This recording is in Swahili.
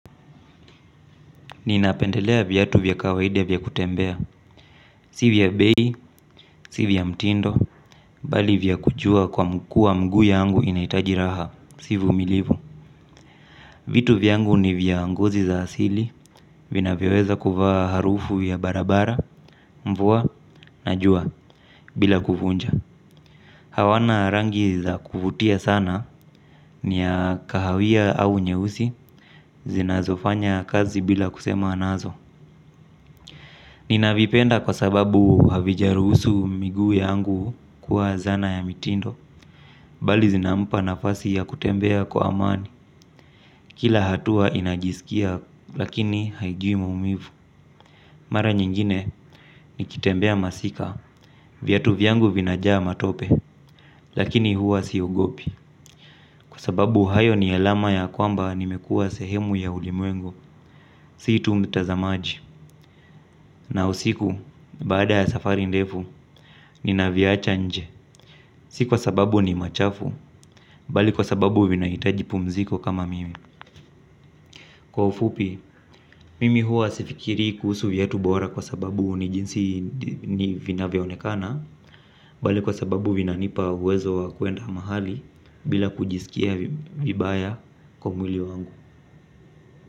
Ninapendelea vyatu vyakawaidi vya vyakutembea. Sivya bei, sivya mtindo. Bali vyakujua kwa mkua mgu yangu inaitajiraha. Sivumilivu. Vitu vyangu ni vyangozi za asili. Vina vyoweza kuvaa harufu ya barabara, mvua, najua bila kufunja. Hawana rangi za kufutia sana. Nia kahawia au nyeusi. Zinazofanya kazi bila kusema nazo. Nina vipenda kwa sababu havijarusu miguu yangu kuwa zana ya mitindo. Bali zinampa nafasi ya kutembea kwa amani. Kila hatua inajisikia lakini haijuimaumivu. Mara nyingine nikitembea masika. Vyatu viangu vinajaa matope. Lakini huwa siogopi. Kwa sababu hayo ni elama ya kwamba nimekua sehemu ya ulimwengu. Situ mtazamaji na usiku baada ya safari ndefu. Nina viacha nje. Sikuwa sababu ni machafu. Bali kwa sababu vinaitaji pumziko kama mimi. Kwa ufupi, mimi hua sifikiri kuhusu viatu bora kwa sababu ni jinsi ni vinavya onekana. Bali kwa sababu vinanipa uwezo wa kuenda mahali bila kujisikia vibaya kwa mwili wangu.